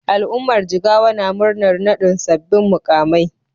Al'ummar Jigawa na murnar naɗin sabbin muƙamai.